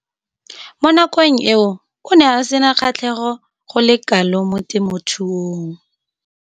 Mo nakong eo o ne a sena kgatlhego go le kalo mo temothuong.